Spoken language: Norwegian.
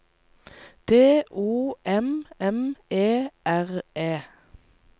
D O M M E R E